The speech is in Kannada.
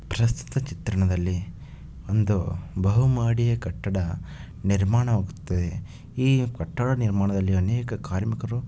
ಪ್ರಸ್ತುತ ಚಿತ್ರಣದಲ್ಲಿ ಒಂದು ಬಹು ಮಹಡಿಯ ಕಟ್ಟಡ ನಿರ್ಮಾಣವಾಗುತ್ತಿದೆ. ಈ ಕಟ್ಟಡ ನಿರ್ಮಾಣದಲ್ಲಿ ಅನೇಕ ಕಾರ್ಮಿಕರು--